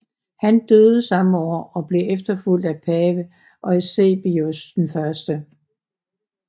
Han døde samme år og blev efterfulgt af pave Eusebius 1